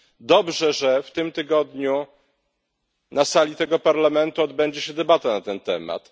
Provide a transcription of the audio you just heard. Dobrze, że w tym tygodniu na sali tego Parlamentu odbędzie się debata na ten temat.